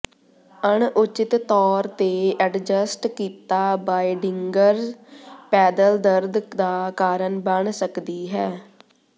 ਅਣਉਚਿਤ ਤੌਰ ਤੇ ਐਡਜਸਟ ਕੀਤਾ ਬਾਇਡਿੰਗਜ਼ ਪੈਦਲ ਦਰਦ ਦਾ ਕਾਰਨ ਬਣ ਸਕਦੀ ਹੈ